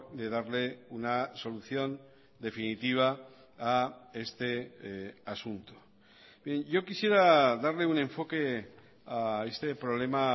de darle una solución definitiva a este asunto yo quisiera darle un enfoque a este problema